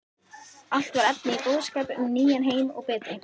Allt var efni í boðskap um nýjan heim og betri